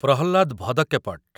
Prahlad ଭଦକ୍କେପଟ୍